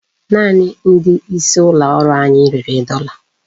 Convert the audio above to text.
Naanị ndị isi ụlọ ọrụ anyị rere dọla.